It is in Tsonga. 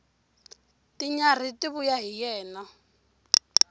tinyarhi ti vuya hi yena